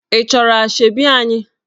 Ị chọrọ Asoebi anyị?